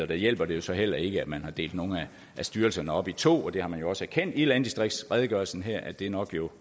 der hjælper det så heller ikke at man har delt nogle af styrelserne op i to det har man også erkendt i landdistriktsredegørelsen her altså at det nok